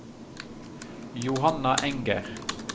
Johanna Enger